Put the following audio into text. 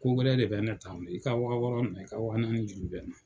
Kowɛrɛ de bɛ ne ta i ka wa wɔɔrɔ minɛn i ka wa naani juru bɛ n na.